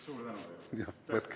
Suur tänu teile!